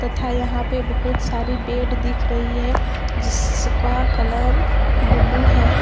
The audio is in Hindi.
था यहां पे बहुत सारी बेड दिख रही है जिसका कलर ब्लू है।